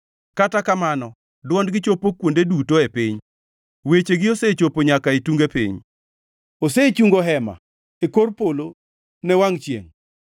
Kata kamano dwondgi chopo kuonde duto e piny, wechegi osechopo nyaka e tunge piny. Osechungo hema e kor polo ne wangʼ chiengʼ,